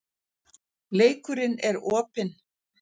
Leikurinn er opinn